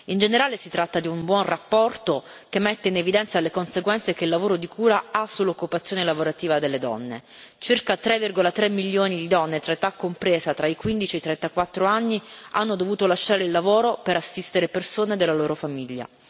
In generale si tratta di una buona relazione, che mette in evidenza le conseguenze che il lavoro di cura ha sull'occupazione lavorativa delle donne circa 3,3 milioni di donne di età compresa tra i 15 e i 34 anni hanno dovuto lasciare il lavoro per assistere persone della loro famiglia.